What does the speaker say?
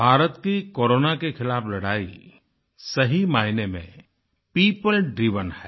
भारत की कोरोना के खिलाफ़ लड़ाई सही मायने में पियोपल ड्राइवेन है